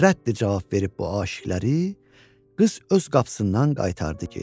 Rədd cavab verib bu aşiqələrə, qız öz qapısından qaytardı geri.